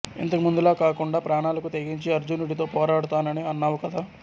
ఇంతకు ముందులా కాకుండా ప్రాణాలకు తెగించి అర్జునుడితో పోరాడుతానని అన్నావు కదా